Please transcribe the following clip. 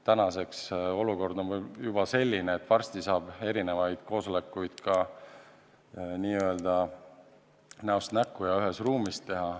Tänaseks on olukord juba selline, et varsti saab erinevaid koosolekuid ka näost näkku, ühes ruumis teha.